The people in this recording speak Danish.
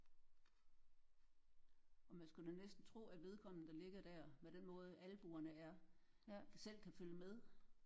Og man skulle da næsten tro at vedkommende der ligger der med den måde albuerne er selv kan følge med